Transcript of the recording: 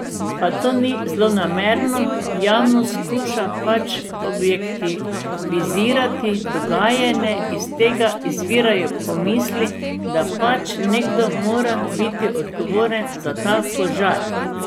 Pa to ni zlonamerno, javnost skuša pač objektivizirati dogajanje in iz tega izvirajo pomisli, da pač nekdo mora biti odgovoren za ta požar.